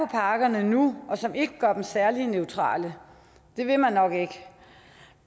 pakkerne nu og som ikke gør dem særlig neutrale det vil man nok ikke